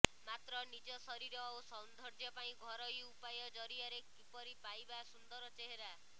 ମାତ୍ର ନିଜ ଶରୀର ଓ ସୌନ୍ଦର୍ଯ୍ୟ ପାଇଁ ଘରୋଇ ଉପାୟ ଜରିଆରେ କିପରି ପାଇବା ସୁନ୍ଦର ଚେହେରା